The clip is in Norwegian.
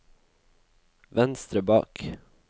venstre bak